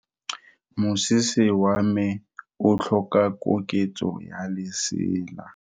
Moroki wa mosese wa me o tlhoka koketso ya lesela.